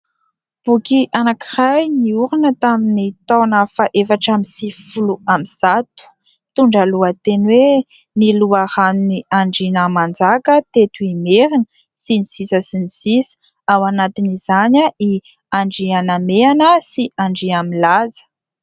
Boky anankiray niorina tamin'ny taona fahaefatra amby sivifolo amby zato. Mitondra ny lohateny hoe "Ny loharanon'ny Andriana Nanjaka teto Imerina" sy ny sisa sy ny sisa. Anisan'izany i Andrianamehana sy Andriamilaza.